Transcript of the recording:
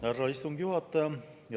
Härra istungi juhataja!